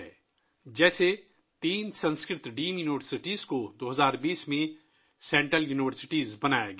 مثال کے طور پر، 2020 ء میں تین سنسکرت ڈیمڈ یونیورسٹیوں کو مرکزی یونیورسٹیاں بنا دیا گیا